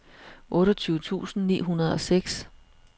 otteogtyve tusind ni hundrede og seks